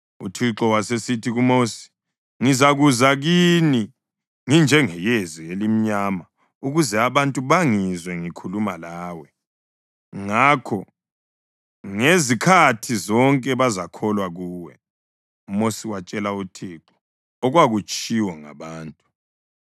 UThixo wasesithi kuMosi, “Ngizakuza kini nginjengeyezi elimnyama ukuze abantu bangizwe ngikhuluma lawe. Ngakho ngezikhathi zonke bazakholwa kuwe.” UMosi watshela uThixo okwakutshiwo ngabantu.